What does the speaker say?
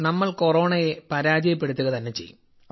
നമ്മൾ കൊറോണയെ പരാജയപ്പെടുത്തുക തന്നെ ചെയ്യും